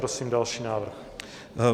Prosím další návrh.